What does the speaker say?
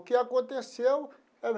O que aconteceu era.